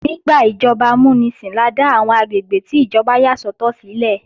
Nígbà ìjọba amúnisìn la dá àwọn àgbègbè tí ìjọba yà sọ́tọ̀ sílẹ̀